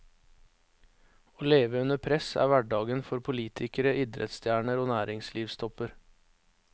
Å leve under press er hverdagen for politikere, idrettsstjerner og næringslivstopper.